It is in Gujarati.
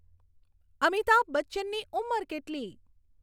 અમિતાભ બચ્ચનની ઉમર કેટલી